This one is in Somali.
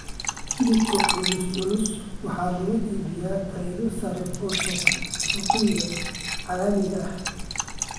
Hilibka cul-culus waxaa lagu iibiyaa faa'iido sare oo suuqyada caalamiga ah.